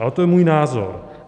Ale to je můj názor.